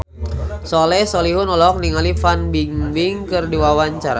Soleh Solihun olohok ningali Fan Bingbing keur diwawancara